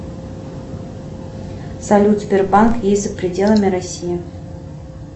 салют сбербанк есть за пределами россии